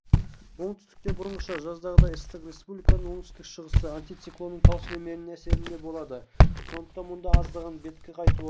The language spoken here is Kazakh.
оңтүстікте бұрынғыша жаздағыдай ыстық республиканың оңтүстік-шығысы антициклонның тау сілемдері әсерінде болады сондықтан мұнда аздаған беті қайтуы